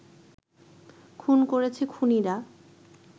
খুন করেছে খুনিরা